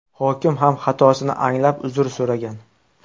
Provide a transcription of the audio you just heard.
Hokim ham xatosini anglab uzr so‘ragan.